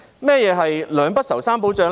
何謂"兩不愁、三保障"？